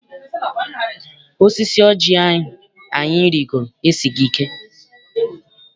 Osisi oji ahụ anyị rigoro esighị ike.